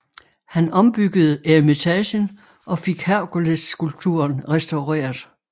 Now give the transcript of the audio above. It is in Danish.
Han ombyggede eremitagen og fik Herkulesskulpturen restaureret